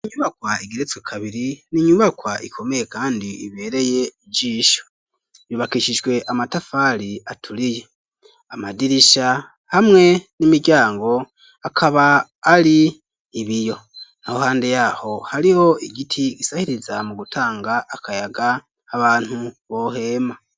Inyubakwa igeretswe kabiri n'inyubakwa ikomeye kandi ibereye ijisho yubakishijwe amatafari aturiye amadirisha hamwe n'imiryango akaba ari ibiyo naho hande yaho hariho igiti gisahiriza mu gutanga akayaga abantu bohema.